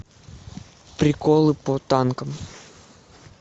приколы по танкам